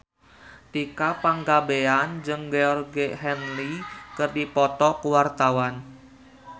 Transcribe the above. Tika Pangabean jeung Georgie Henley keur dipoto ku wartawan